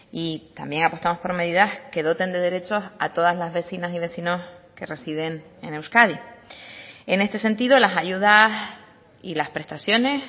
y también apostamos por medidas que doten de derechos a todas las vecinas y vecinos que residen en euskadi en este sentido las ayudas y las prestaciones